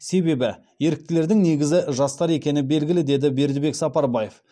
себебі еріктілердің негізі жастар екені белгілі деді бердібек сапарбаев